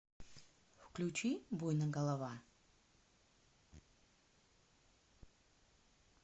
включи буйно голова